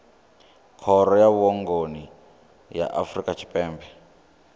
khoro ya vhuongi ya afrika tshipembe